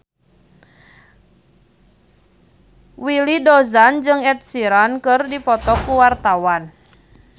Willy Dozan jeung Ed Sheeran keur dipoto ku wartawan